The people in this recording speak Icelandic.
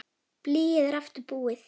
Blýið er aftur búið.